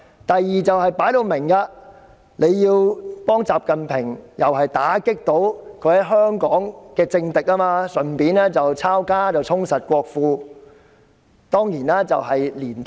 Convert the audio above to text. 第二個理由，就是幫助習近平打擊在香港的政敵，順便抄家，充實國庫。